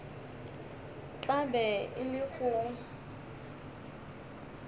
tla be e le go